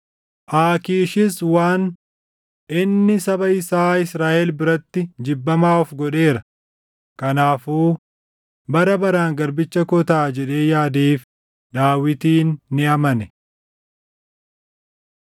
Aakiishis waan, “Inni saba isaa Israaʼel biratti jibbamaa of godheera; kanaafuu bara baraan garbicha koo taʼa” jedhee yaadeef Daawitin ni amane.